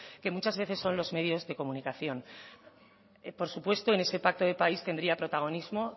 que muchas veces son los medios de comunicación por supuesto en ese pacto de país tendría protagonismo